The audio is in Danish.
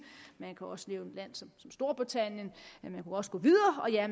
man kan også nævne et land som storbritannien